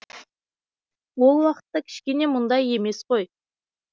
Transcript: ол уақытта кішкене мұндай емес қой